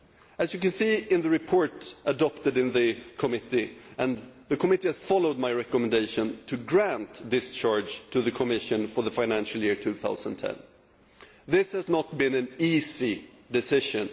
As you can see in the report adopted in the committee, which followed my recommendation to grant discharge to the Commission for the financial year 2010, this was not an easy decision.